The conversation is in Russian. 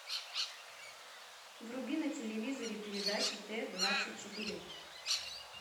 вруби на телевизоре передачу т двадцать четыре